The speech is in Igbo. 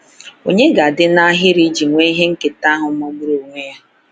Ònye ga-adị n’ahịrị iji nwee ihe nketa ahụ magburu onwe ya?